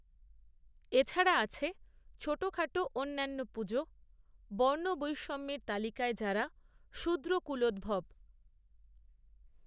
এ ছাড়া আছে ছোটখাটো অন্যান্য পুজো; বর্ণবৈষম্যের তালিকায় যারা শূদ্রকূলোদ্ভব